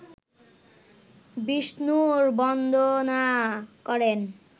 বিষ্ণুর বন্দনা করেন